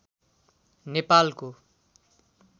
नेपालको